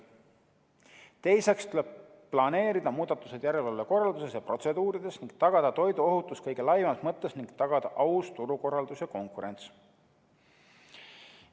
Teiseks tuleb planeerida muudatused järelevalve korralduses ja protseduurides ning tagada toiduohutus kõige laiemas mõttes ning tagada aus turukorraldus ja -konkurents.